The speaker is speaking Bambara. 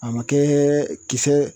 A ma kɛ kisɛ